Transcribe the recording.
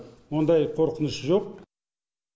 мұндай қорқыныш жоқ